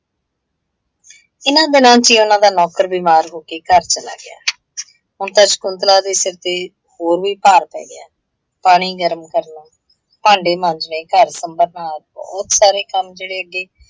ਇਹਨਾਂ ਦਿਨਾਂ ਚ ਹੀ ਉਹਨਾਂ ਦਾ ਨੌਕਰ ਬਿਮਾਰ ਹੋਕੇ ਘਰ ਚਲਾ ਗਿਆ। ਹੁਣ ਤਾਂ ਸ਼ਕੁੰਤਲਾ ਦੇ ਸਿਰ ਤੇ ਹੋਰ ਵੀ ਭਾਰ ਪੈ ਗਿਆ, ਪਾਣੀ ਗਰਮ ਕਰਨਾ, ਭਾਂਡੇ ਮਾਂਜਣੇ, ਘਰ ਸੁੰਭਰਨਾ, ਬਹੁਤ ਸਾਰੇ ਕੰਮ ਜਿਹੜੇ ਅੱਗੇ